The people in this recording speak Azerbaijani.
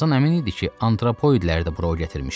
Tarzan əmin idi ki, antropoidləri də bura gətirmişdi.